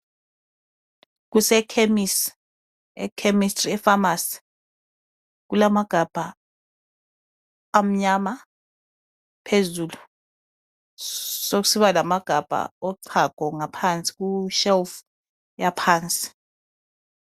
Kusekhemisi, e chemistry e famasi. Kulamagabha amnyama phezulu, sokusiba lamagabha ochago ngaphansi ku shelf yaphansi